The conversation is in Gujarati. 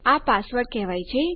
આ પાસવર્ડ કહેવાય છે